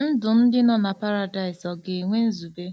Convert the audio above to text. Ndụ ndị nọ na Paradaịs ọ̀ ga-enwe nzube?